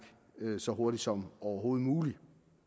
så hurtigt som overhovedet muligt